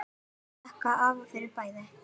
Ég þakka afa fyrir bæði.